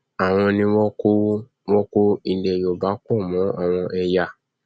àwọn ni wọn kó wọn kó ilẹ yorùbá pọ mọ àwọn ẹyà